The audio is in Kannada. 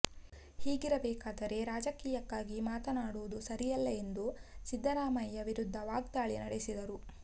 ಹೀಗಿರಬೇಕಾದರೆ ರಾಜೀಕಯಕ್ಕಾಗಿ ಮಾತನಾಡೋದು ಸರಿಯಲ್ಲ ಎಂದು ಸಿದ್ಧರಾಯಮಯ್ಯ ವಿರುದ್ಧ ವಾಗ್ದಾಳಿ ನಡೆಸಿದರು